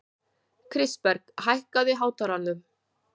Kristberg, hækkaðu í hátalaranum.